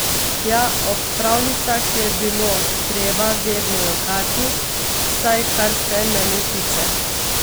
Ja, ob pravljicah je bilo treba vedno jokati, vsaj kar se mene tiče.